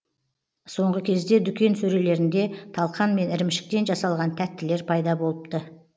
соңғы кезде дүкен сөрелерінде талқан мен ірімшіктен жасалған тәттілер пайда болыпты